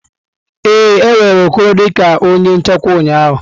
Ee, e were Okoro dị ka onye nchekwa ụnyaahụ.